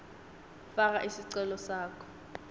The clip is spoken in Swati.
faka sicelo sakho